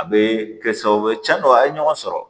A bɛ kɛ sababu ye cɛn don a ye ɲɔgɔn sɔrɔ